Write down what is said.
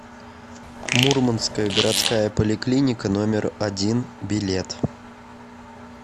мурманская городская поликлиника номер один билет